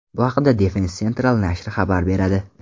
Bu haqda Defensa Central nashri xabar beradi .